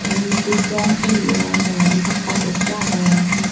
tay undi doob rong soreyon tolendi pakkar gocche agey.